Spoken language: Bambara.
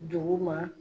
Dugu ma